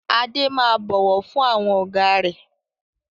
Adé máa bọ̀wọ̀ fún àwọn Ọ̀gá rẹ